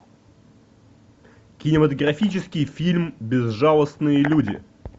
кинематографический фильм безжалостные люди